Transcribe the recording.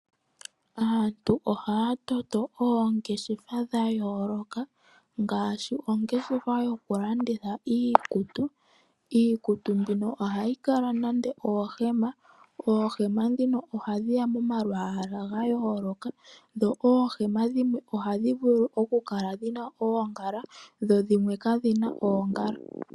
Aantu ohaya toto oongeshefa dha yooloka ngaashi ongeshefa yoku landitha iikutu. iikutu mbino ohayi kala nande oohema, oohema ndhino ohadhiya moma lwala ga yooloka dho oohema dhimwe ohadhi vulu okukala dhina oongala dho dhimwe kadhina oongala.